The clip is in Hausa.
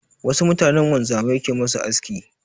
Wasu mutanen wanzamai ke ma su aski.